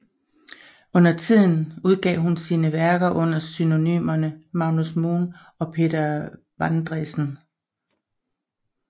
Undertiden udgav hun sine værker under pseudonymerne Magnus Moen og Peter Vandresen